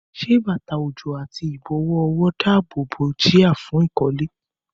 Ṣé bàtà òjò àti ìbọ̀wọ́ ọwọ́ dáàbò bo jia fún ìkọ́lé?